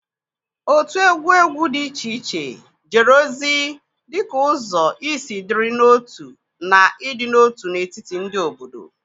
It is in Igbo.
otu egwu egwu dị iche iche jere ozi dị ka ụzọ isi dịrị n'otu na ịdị n'otu n'etiti ndị obodo.